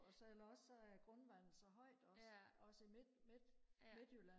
og så eller også så er grundvandet så højt også også i midt midt midtjylland